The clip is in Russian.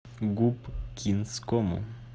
губкинскому